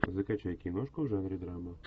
закачай киношку в жанре драма